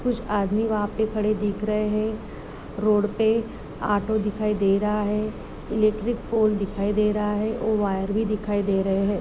कुछ आदमी वहाँ पर खड़े दिख रहे हैं रोड पर ऑटो दिखाई दे रहा है इलेक्ट्रिक पोल दिखाई दे रहा है और वायर भी दिखाई दे रहे हैं।